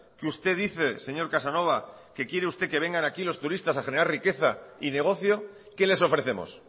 que usted dice señor casanova que quiere usted que vengan aquí los turistas a generar riqueza y negocio qué les ofrecemos